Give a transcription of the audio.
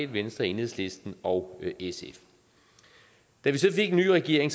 venstre enhedslisten og sf da vi så fik en ny regering